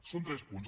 són tres punts